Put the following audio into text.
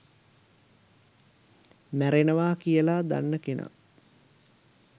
මැරෙනවා කියලා දන්න කෙනා